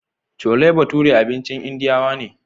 Cole bature abincin indiyawa ne